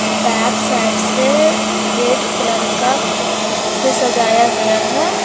Back side से red colour का से सजाया गया है।